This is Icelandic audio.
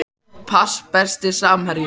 pass Besti samherjinn?